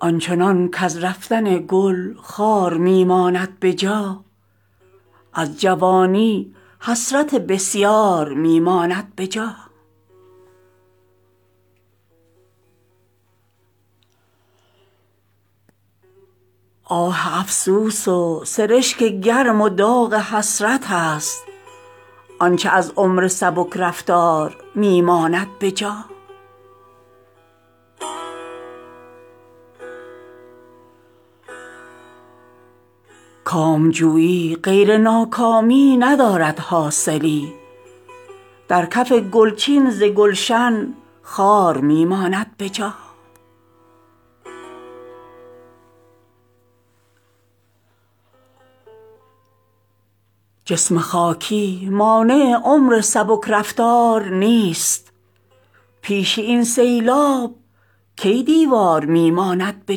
آنچنان کز رفتن گل خار می ماند به جا از جوانی حسرت بسیار می ماند به جا آه افسوس و سرشک گرم و داغ حسرت است آنچه از عمر سبک رفتار می ماند به جا نیست غیر از رشته طول امل چون عنکبوت آنچه از ما بر در و دیوار می ماند به جا کامجویی غیر ناکامی ندارد حاصلی در کف گل چین ز گلشن خار می ماند به جا رنگ و بوی عاریت پا در رکاب رحلت است خار خواری در دل از گلزار می ماند به جا جسم خاکی مانع عمر سبک رفتار نیست پیش این سیلاب کی دیوار می ماند به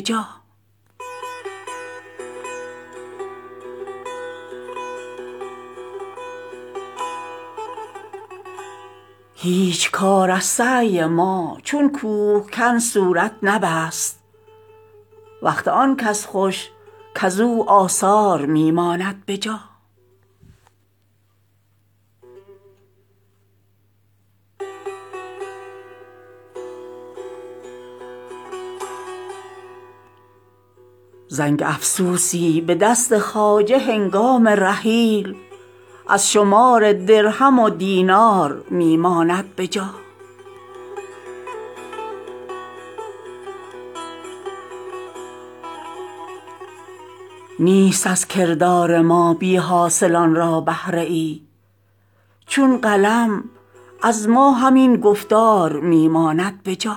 جا غافل است آن کز حیات رفته می جوید اثر نقش پا کی زان سبک رفتار می ماند به جا هیچ کار از سعی ما چون کوهکن صورت نبست وقت آن کس خوش کز او آثار می ماند به جا زنگ افسوسی به دست خواجه هنگام رحیل از شمار درهم و دینار می ماند به جا نیست از کردار ما بی حاصلان را بهره ای چون قلم از ما همین گفتار می ماند به جا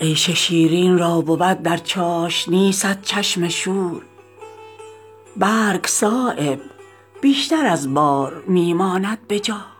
ظالمان را مهلت از مظلوم چرخ افزون دهد بیشتر از مور اینجا مار می ماند به جا سینه ناصاف در میخانه نتوان یافتن نیست هر جا صیقلی زنگار می ماند به جا می کشد حرف از لب ساغر می پر زور عشق در دل عاشق کجا اسرار می ماند به جا عیش شیرین را بود در چاشنی صد چشم شور برگ صایب بیشتر از بار می ماند به جا